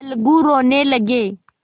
अलगू रोने लगे